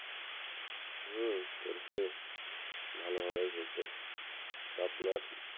হম করছি ভালোভাবেই হইছে তো আপনার,